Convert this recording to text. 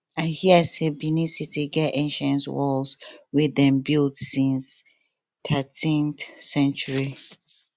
i hear sey benincity get ancient walls wey dem build since 13th century